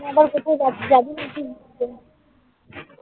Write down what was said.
আমি আবার কোথায় যাচ্ছি?